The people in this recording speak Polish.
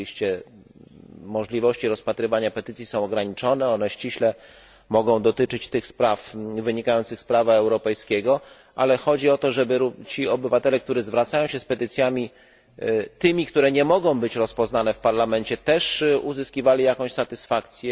Oczywiście możliwości rozpatrywania petycji są ograniczone, one ściśle mogą dotyczyć tych spraw wynikających z prawa europejskiego, ale chodzi o to, aby ci obywatele, którzy zwracają się z petycjami tymi, które nie mogą być rozpoznane w Parlamencie też uzyskiwali jakąś satysfakcję.